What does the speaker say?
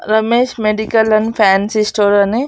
Ramesh medical and fancy store అని--